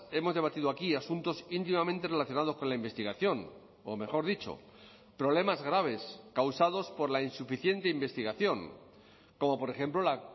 hemos debatido aquí asuntos íntimamente relacionados con la investigación o mejor dicho problemas graves causados por la insuficiente investigación como por ejemplo la